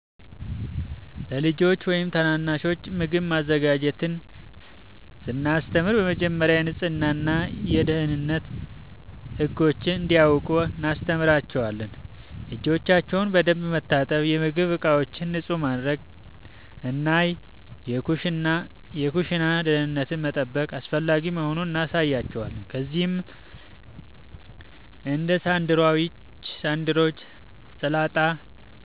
ለልጆች ወይም ታናናሾች ምግብ ማዘጋጀትን ስናስተምር በመጀመሪያ የንጽህና እና የደህንነት ህጎችን እንዲያውቁ እናስተምራቸዋለን። እጆቻቸውን በደንብ መታጠብ፣ የምግብ ዕቃዎችን ንጹህ ማድረግ እና የኩሽና ደህንነትን መጠበቅ አስፈላጊ መሆኑን እናሳያቸዋለን። ከዚያም እንደ ሳንድዊች፣ ሰላጣ፣